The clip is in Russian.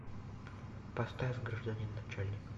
поставь гражданин начальник